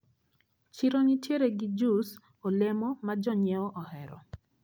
Chiro nitiere gi jous olemo ma jonyiewo ohero.